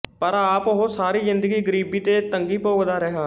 ਪਰ ਆਪ ਉਹ ਸਾਰੀ ਜ਼ਿੰਦਗੀ ਗਰੀਬੀ ਤੇ ਤੰਗੀ ਭੋਗਦਾ ਰਿਹਾ